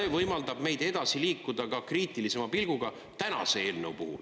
… kuid võimaldab meil edasi liikuda ka kriitilisema pilguga tänase eelnõu puhul.